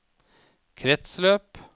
kretsløp